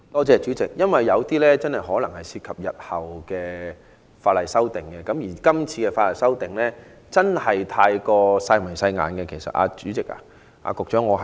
主席，有些事項可能涉及日後法例修訂，而這次修訂過於"細眉細眼"，局長，其實我有點失望。